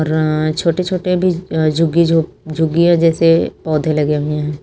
अह छोटे छोटे भी अह झुगी झो झुग्गियां जैसे पौधे लगे हुए हैं।